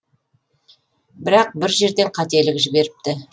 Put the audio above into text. бірақ бір жерден қателік жіберіпті